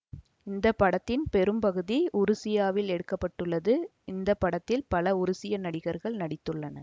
இந்த படத்தின் பெரும் பகுதி உருசியாவில் எடுக்க பட்டுள்ளது இந்த படத்தில் பல உருசிய நடிகர்கள் நடித்துள்ளனர்